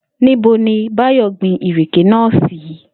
Níbo ni Báyò̩ gbin ìrèké náà sí?